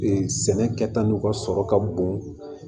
sɛnɛ kɛta n'u ka sɔrɔ ka bon